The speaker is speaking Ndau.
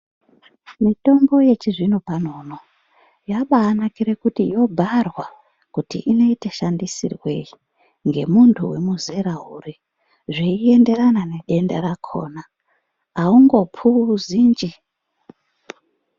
Mitombo yechizvino uno yakanakira kuti yobharwa kuti inoitwa shandisirwei nemuntu une zera uri zveienderana nedenda rakona aungopuzi nje.